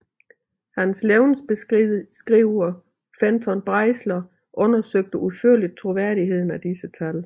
Hans levnedsbeskriver Fenton Breisler undersøgte udførligt troværdigheden af disse tal